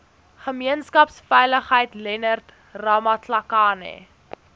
gemeenskapsveiligheid leonard ramatlakane